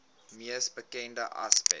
mees bekende aspek